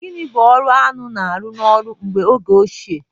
Gịnị bụ ọrụ aṅụ na-arụ n'ọrụ ugbo oge ochie?